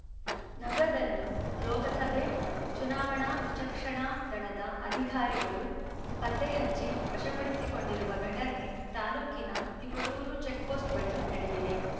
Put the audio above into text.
ನಗದನ್ನು ಲೋಕಸಭೆ ಚುನಾವಣಾ ವಿಚಕ್ಷಣಾ ದಳದ ಅಧಿಕಾರಿಗಳು ಪತ್ತೆಹಚ್ಚಿ ವಶಪಡಿಸಿಕೊಂಡಿರುವ ಘಟನೆ ತಾಲ್ಲೂಕಿನ ತಿಪಟೂರು ಚೆಕ್‌ಪೋಸ್ಟ್‌ ಬಳಿ ನಡೆದಿದೆ